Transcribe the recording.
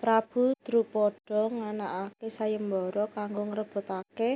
Prabu Drupada nganakaké sayembara kanggo ngrebutaké